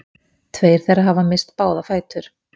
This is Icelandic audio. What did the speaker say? Tveir þeirra hafa misst báða fætur